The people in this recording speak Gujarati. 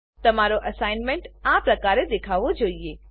તમારો એસાઈનમેંટ આ પ્રકારે દેખાવવો જોઈએ